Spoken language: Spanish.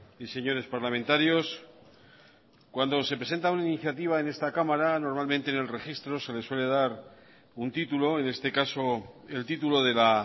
y señores parlamentarios cuando se presenta una iniciativa en esta cámara normalmente en el registro se le suele dar un título en este caso el título de la